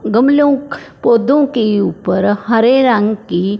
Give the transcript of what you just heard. गमलों के पौधों के ऊपर हरे रंग की--